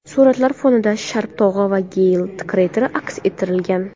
Suratlar fonida Sharp tog‘i va Geyl krateri aks ettirilgan.